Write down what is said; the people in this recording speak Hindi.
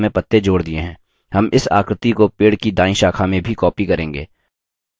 हम इस आकृति को पेड़ की दायीं शाखा में भी copy करेंगे